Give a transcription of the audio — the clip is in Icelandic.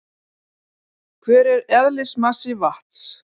hver er eðlismassi vatns